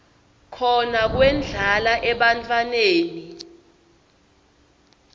khona kwendlala ebantfwaneni